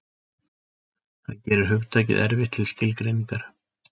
Það gerir hugtakið erfitt til skilgreiningar.